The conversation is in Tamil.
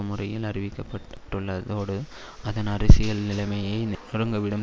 முறையில் அரிக்கப்பட்டுள்ள தோடு அதன் அரசியல் நிலைமையை நொருங்கவிடும்